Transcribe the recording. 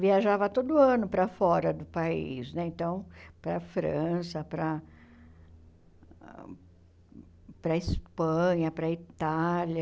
viajava todo ano para fora do país, né então para a França, para para a Espanha, para a Itália.